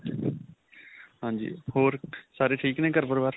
ਹਾਂਜੀ. ਹੋਰ. ਸਾਰੇ ਠੀਕ ਨੇ ਘਰ-ਪਰਿਵਾਰ .